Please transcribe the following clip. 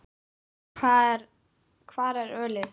Hvar er ölið?